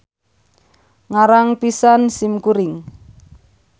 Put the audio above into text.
Ngarang pisan sim kuring.